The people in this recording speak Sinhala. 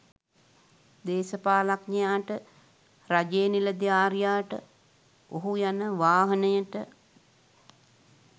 දේශපාලනඥයාට රජයේ නිලධාරියාට ඔහු යන වාහනයට